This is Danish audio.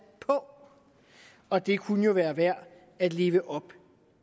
på og det kunne jo være værd at leve op